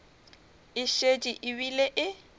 e šetše e bile e